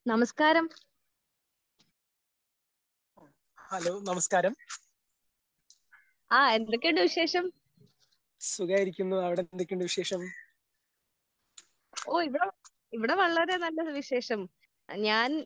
നമസ്ക്കാരം ആഹ് എന്തൊക്കെയുണ്ട് വിശേഷം? ഓഹ് ഇവിടെ ഇവിടെ വളരെ നല്ല വിശേഷം. ഞാൻ